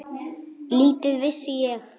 Lítið vissi ég.